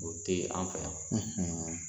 O tɛ an fɛ yan